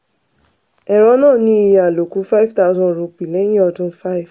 ẹ̀rọ náà ní iye àlòkù ₹5000 lẹ́yìn ọdún 5.